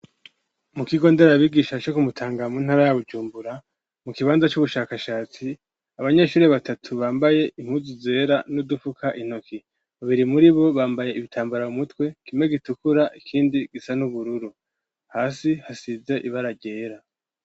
mu kigonderabigisha cho kumutanga mu ntara ya gucumbura mu kibanza cy'ubushakashatsi abanyeshuri batatu bambaye impuzu zera n'udufuka intoki babiri muri bo bambaye ibitambara mumutwe kimwe gitukura ikindi gisa n'ubururu hasi hasize ibaragera